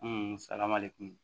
salamalen kum.